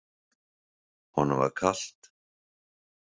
Honum var kalt.